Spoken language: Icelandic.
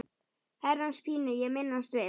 Herrans pínu ég minnast vil.